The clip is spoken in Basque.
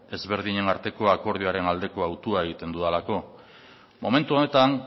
ezberdinen arteko akordioaren aldeko hautua egiten dudalako momentu honetan